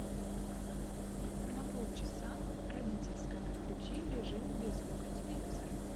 на полчаса родительская включи режим без звука телевизора